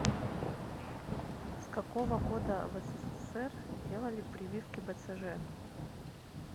с какого года в ссср делали прививки бцж